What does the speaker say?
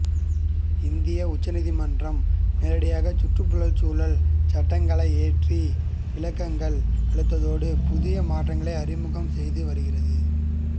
இந்திய உச்ச நீதிமன்றம் நேரடியாக சுற்றுச்சூழல் சட்டங்களை இயற்றி விளக்கங்கள் அளிப்பதோடு புதிய மாற்றங்களை அறிமுகம் செய்து வருகிறது